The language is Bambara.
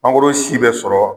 Mangoro si bɛ sɔrɔ